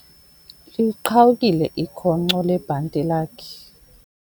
Liqhawukile ikhonkco lebhanti lakhe.